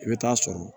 I bɛ taa sɔrɔ